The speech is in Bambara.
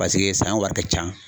Paseke san wari ka ca.